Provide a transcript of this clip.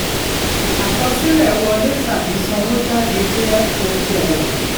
àkọsílẹ̀ wọlé tàbí sanwó jáde jẹ́ okoòwò.